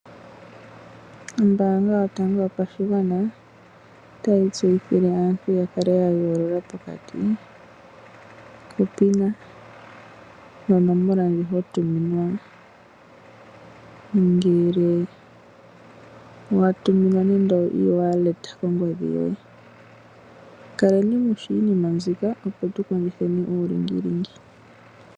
Ombaanga yotango yopashigwana otayi tseyithile aantu ya kale ya yoolola pokati kopina nonomola ndjo ho tuminwa ngele wa tuminwa nando oe-walleta kongodhi yoye. Kaleni mu shi iinima mbyoka tu kondjitheni uulingilingi.